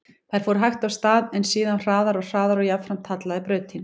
Þær fóru hægt af stað, en síðan hraðar og hraðar og jafnframt hallaði brautin.